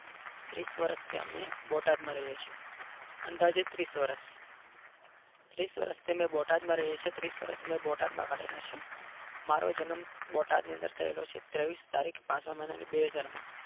ત્રીસ વર્ષથી અમે બોટાદમાં રહીએ છીએ અંદાજે ત્રીસ વર્ષ ત્રીસ વર્ષથી અમે બોટાદમાં રહીએ છીએ ત્રીસ વર્ષ અમે બોટાદમાં કાઢ્યા મારો જન્મ બોટાદ ની અંદર થયેલો છે. ત્રેવીસ તારીખ પાંચમા મહિનાની બેહજાર માં